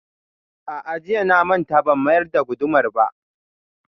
A'a, jiya na manta ban mayar da gudumar ba